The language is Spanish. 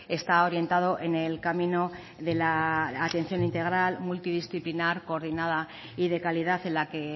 está orientado en el camino de la atención integral multidisciplinar coordinada y de calidad en la que